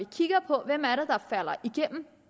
kigger på hvem